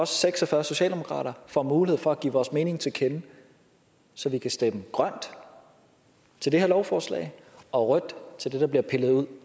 seks og fyrre socialdemokrater får mulighed for at give vores mening til kende så vi kan stemme grønt til det her lovforslag og rødt til det der bliver pillet ud